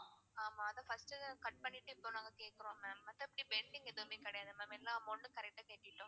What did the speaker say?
ஆமா அது first cut பண்ணிட்டு இப்போ நாங்க கேக்குறோம் ma'am மத்தப்படி pending எதுவுமே கிடையாது ma'am. எல்லா amount ட்டும் correct ஆ கெட்டிட்டோம்.